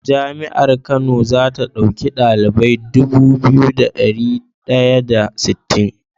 Jami'ar kano zata dauki ɗalibai Dubu biyu da dari daya da sittin